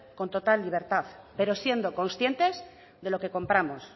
con total libertad pero siendo conscientes de lo que compramos